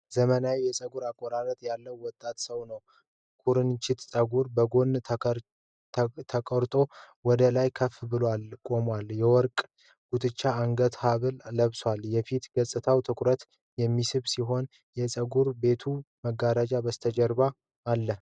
ዘመናዊ የፀጉር አቆራረጥ ያለው ወጣት ሰው ነው። ኩርንችት ፀጉሩ በጎን ተከርቶ ወደ ላይ ከፍ ብሎ ቆሟል:: የወርቅ ጉትቻና የአንገት ሐብል ለብሷል:: የፊት ገጽታው ትኩረት የሚስብ ሲሆን፣ የፀጉር ቤቱ መጋረጃ በስተጀርባ አለ::